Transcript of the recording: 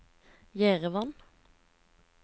Jerevan